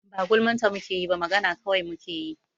Ba gulman ta mu ke yi ba, magana kawai mu kai yi.